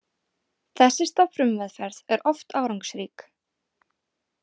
Þessi stofnfrumumeðferð er oft árangursrík.